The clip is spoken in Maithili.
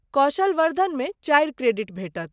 कौशल वर्द्धनमे चारि क्रेडिट भेटत।